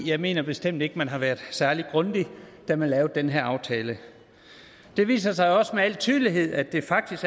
jeg mener bestemt ikke man har været særlig grundig da man lavede den her aftale det viser sig også med al tydelighed at det faktisk